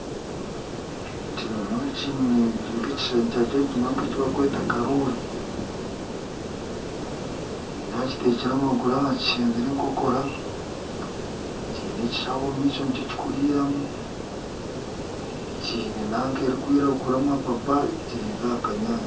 Ekinyonyi nyowe kwonka ekishushani kyakyo nikyo barikweta karoori. Nindeeba kitekire amaguru aha kishengye n'enkokora kiine ekishaho omu maisho nikyo kikuriramu kiine nanka erikwiragura amapapa kiri nk'aha kanyaatsi